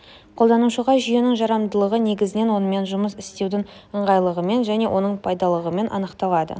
қолданушыға жүйенің жарамдылығы негізінен онымен жұмыс істеудің ыңғайлылығымен және оның пайдалылығымен анықталады